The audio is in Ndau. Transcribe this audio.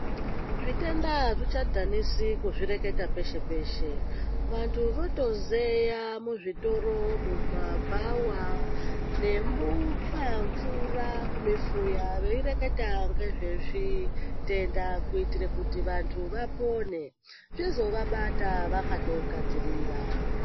Zvitenda azvicha dhanisi kuzvi reketa peshe peshe vantu voto zeya mu zvitoro mu mabhawa ne mu ma mvura kuno fuya vei reketa ngezve zvitenda kuitira kuti vantu vapone zvozova bata vaka gadzira.